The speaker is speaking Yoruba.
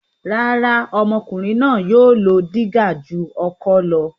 Rárá, ọmọkùnrin náà yóò lo dígà ju ọkọ́ lọ.